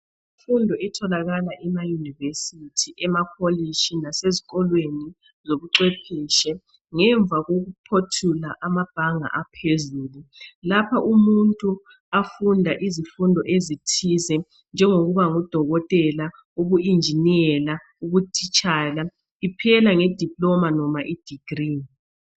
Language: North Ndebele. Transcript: Imfundo etholakala emayunivesithi emakolitshi lasesikolweni lobucwephetshe, ngemva kokuphothula amabhanga aphezulu Lapha umuntu afunda izifundo ezithize njengokuba ngudokotela, ubu injiniyela ubutitshala, iphela nge diploma loma i degree